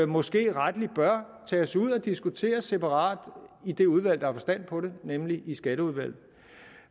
måske rettelig bør tages ud og diskuteres separat i det udvalg der har forstand på det nemlig skatteudvalget